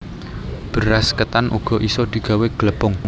Beras ketan uga isa digawé glepung